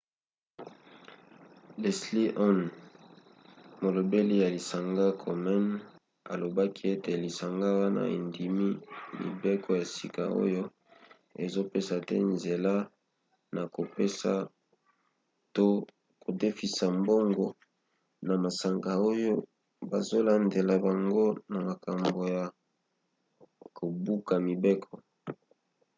leslie aun molobeli ya lisanga komen alobaki ete lisanga wana endimi mibeko ya sika oyo ezopesa te nzela na kopesa to kodefisa mbongo na masanga oyo bazolandela bango na makambo ya kobuka mibeko